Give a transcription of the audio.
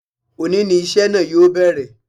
Òní ni iṣẹ́ náà yóò bẹ̀rẹ̀